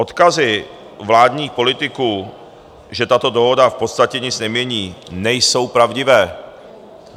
Odkazy vládních politiků, že tato dohoda v podstatě nic nemění, nejsou pravdivé.